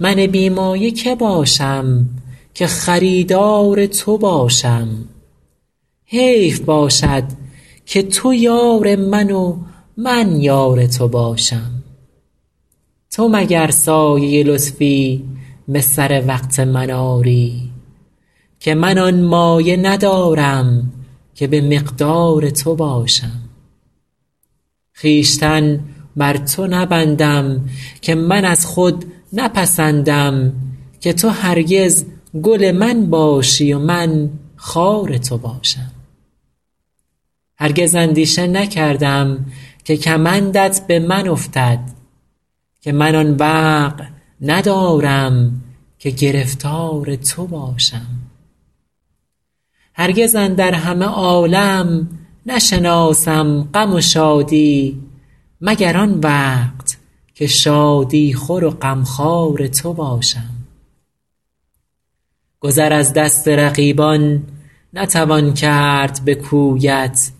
من بی مایه که باشم که خریدار تو باشم حیف باشد که تو یار من و من یار تو باشم تو مگر سایه لطفی به سر وقت من آری که من آن مایه ندارم که به مقدار تو باشم خویشتن بر تو نبندم که من از خود نپسندم که تو هرگز گل من باشی و من خار تو باشم هرگز اندیشه نکردم که کمندت به من افتد که من آن وقع ندارم که گرفتار تو باشم هرگز اندر همه عالم نشناسم غم و شادی مگر آن وقت که شادی خور و غمخوار تو باشم گذر از دست رقیبان نتوان کرد به کویت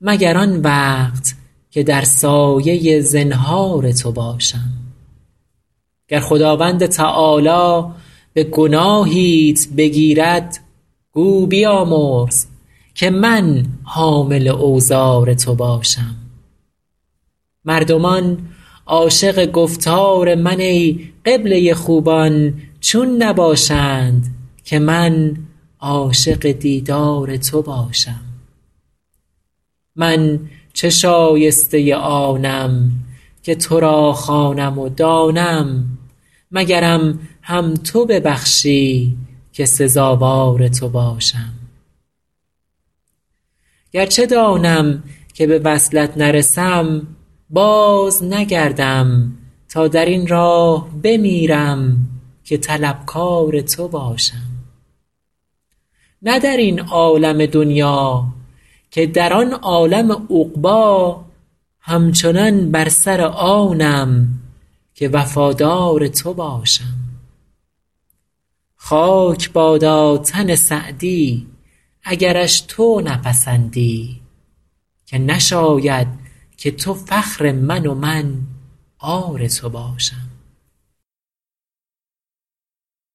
مگر آن وقت که در سایه زنهار تو باشم گر خداوند تعالی به گناهیت بگیرد گو بیامرز که من حامل اوزار تو باشم مردمان عاشق گفتار من ای قبله خوبان چون نباشند که من عاشق دیدار تو باشم من چه شایسته آنم که تو را خوانم و دانم مگرم هم تو ببخشی که سزاوار تو باشم گرچه دانم که به وصلت نرسم بازنگردم تا در این راه بمیرم که طلبکار تو باشم نه در این عالم دنیا که در آن عالم عقبی همچنان بر سر آنم که وفادار تو باشم خاک بادا تن سعدی اگرش تو نپسندی که نشاید که تو فخر من و من عار تو باشم